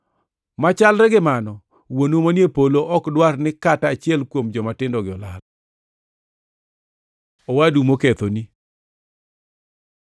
Machalre gi mano, wuonu manie polo ok dwar ni kata achiel kuom jomatindogi olal. Owadu mokethoni